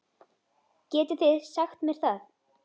Getið þið sagt mér það?